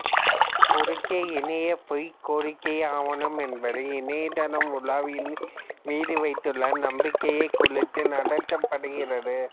குறுக்கு இணைய பொய் கோரிக்கை ஆவணம் என்பது இணையதளம் உலாவியின் மீதி வைத்துள்ள நம்பிக்கையை குலைத்து நடத்தப்படுகிறது